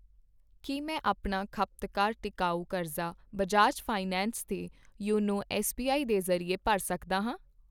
ਕੀ ਮੈਂ ਆਪਣਾ ਖਪਤਕਾਰ ਟਿਕਾਊ ਕਰਜ਼ਾ ਬਜਾਜ ਫਾਈਨੈਂਸ 'ਤੇ ਯੋਨੋ ਐੱਸਬੀਆਈ ਦੇ ਜ਼ਰੀਏ ਭਰ ਸਕਦਾ ਹਾਂ ?